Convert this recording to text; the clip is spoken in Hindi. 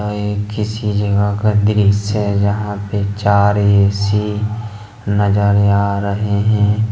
ये किसी जगह का दृश्य है जहां पे चार ए_सी नजर आ रहे हैं।